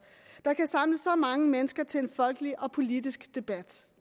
der kan samle så mange mennesker til en folkelig og politisk debat